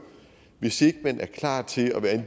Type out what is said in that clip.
hvis ikke man er klar til at være en